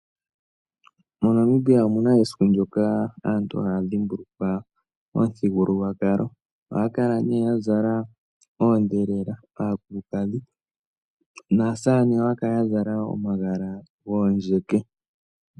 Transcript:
Monamibia omuna esiku ndoka aantu haya dhimbulukwa omuthigululwakalo. Ohaya kala nee yazala oondhelela aakulukadhi, naasamane ohaya kala yazala omagala goondjeke.